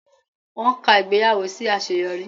Wọ́n ka ìgbéyàwó sí àṣeyọrí